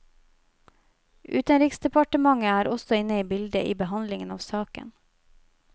Utenriksdepartementet er også inne i bildet i behandlingen av saken.